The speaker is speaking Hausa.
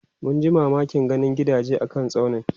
munji mamakin ganin gidaje a kan tsaunin